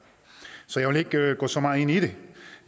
så jeg vil ikke gå så meget ind i det